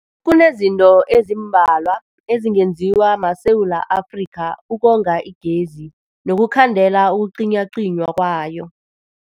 Kunezinto ezimbalwa ezingenziwa maSewula Afrika ukonga igezi nokukhandela ukucinywacinywa kwayo.